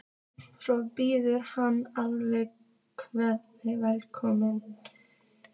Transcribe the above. Svo býður hann alla hjartanlega velkomna.